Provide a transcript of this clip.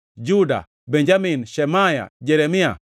Juda, Benjamin, Shemaya, Jeremia,